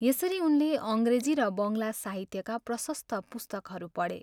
यसरी उनले अङ्ग्रेजी र बङ्गला साहित्यका प्रशस्त पुस्तकहरू पढे।